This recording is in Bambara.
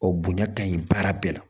O bonya ka ɲi baara bɛɛ la